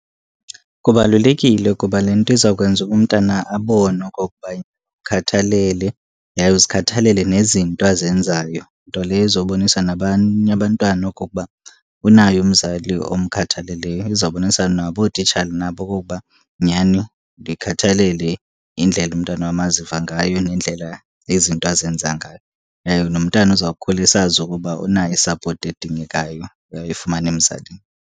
Kubalulekile kuba le nto izawukwenza uba umntana abone okokuba umkhathalele, yaye uzikhathalele nezinto azenzayo. Nto leyo ezobonisa nabanye abantwana okokuba unaye umzali omkhathaleleyo, izobonisa nabo ootitshala nabo okokuba nyani ndiyikhathalele indlela umntwana wam aziva ngayo nendlela izinto ezenza ngayo. Yaye nomntana uzawukhula esazi ukuba unayo isapoti edingekayo, uyawuyifumana emzalini.